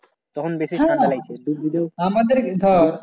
তখন বেশি ঠান্ডা লাগছে